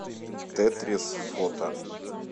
тетрис фото